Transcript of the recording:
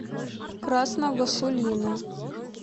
красного сулина